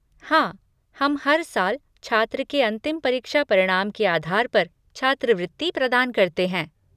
हाँ, हम हर साल छात्र के अंतिम परीक्षा परिणाम के आधार पर छात्रवृत्ति प्रदान करते हैं।